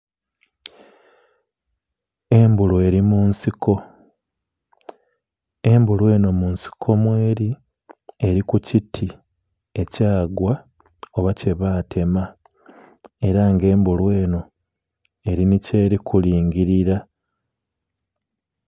Embulu eri munsiko, embulu eno munsiko mu eri, eri kukiti ekyagwa oba kyebatema era nga embulu eno eri ni kyere kulingirira.